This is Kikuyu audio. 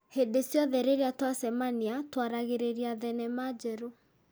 Hĩndĩ ciothe rĩrĩa twacemania, tũaragĩrĩria thenema njerũ.